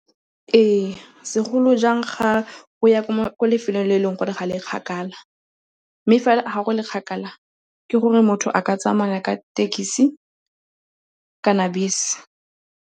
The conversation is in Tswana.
Ee, segolo jang ga o ya ko lefelong le e leng gore ga le kgakala. Mme ga go le kgakala, ke gore motho a ka tsamaya ka thekisi kana bese.